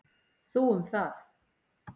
Þú um það.